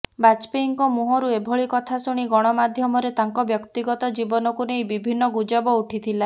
ବାଜପେୟୀଙ୍କ ମୁହଁରୁ ଏଭଳି କଥା ଶୁଣି ଗଣମାଧ୍ୟମରେ ତାଙ୍କ ବ୍ୟକ୍ତିଗତ ଜୀବନୀକୁ ନେଇ ବିଭିନ୍ନ ଗୁଜବ ଉଠିଥିଲା